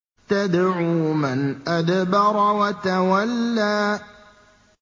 تَدْعُو مَنْ أَدْبَرَ وَتَوَلَّىٰ